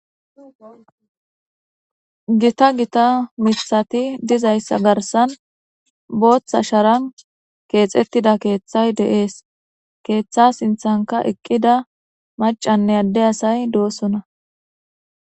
Gita gita miththati dizayssa garssan booththa sharan keexxetida keeththay dees keetha lanqenkka maccanne adde assay deetes.